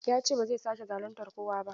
Ya ce ba zai sake zaluntar kowa ba.